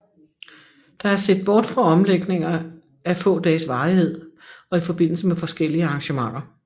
Der er set bort fra omlægninger af få dages varighed og i forbindelse med forskellige arrangementer